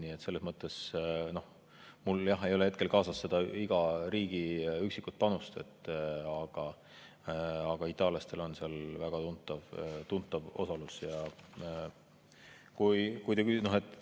Mul ei ole hetkel kaasas iga riigi üksiku panuse kohta, aga itaallastel on seal väga tuntav osalus.